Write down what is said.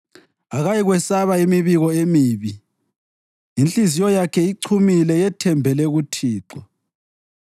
Akayikwesaba imibiko emibi; inhliziyo yakhe ichumile, yethembele kuThixo.